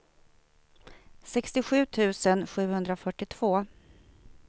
sextiosju tusen sjuhundrafyrtiotvå